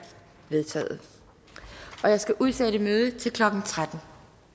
vedtaget jeg skal udsætte mødet til klokken tretten